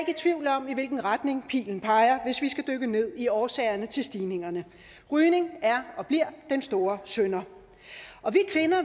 i tvivl om i hvilken retning pilen peger hvis vi skal dykke ned i årsagerne til stigningerne rygning er og bliver den store synder